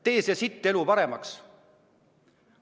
Tee see sitt elu paremaks!